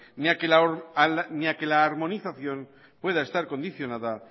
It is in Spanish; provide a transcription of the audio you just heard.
ni a que la armonización pueda estar condicionada